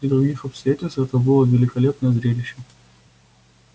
при других обстоятельствах это было бы великолепное зрелище